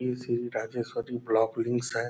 ये श्री राजेश्वरी ब्लाक है।